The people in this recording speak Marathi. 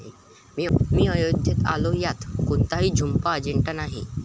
मी अयोध्येत आलो यात कोणताही छुपा अजेंडा नाही